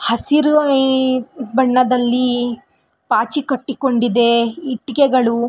ಹಸಿರು ಬಣ್ಣದಲ್ಲಿ ಪಾಚಿ ಕಟ್ಟಿಕೊಂಡಿದೆ ಇಟ್ಟಿಕೆಗಳು --